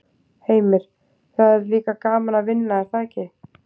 Heimir: Og það er líka gaman að vinna er það ekki?